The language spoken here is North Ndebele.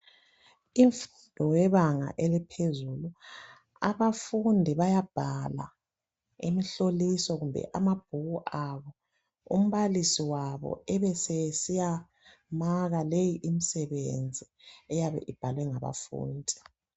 Imfundo yebanga eliphezulu, abafundi bayabhala imhloliso kumbe amabhuku abo, umbalisi wabo ebesesiya maka leyi imsebenzi eyabe ibhalwe ngabafundi.